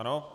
Ano.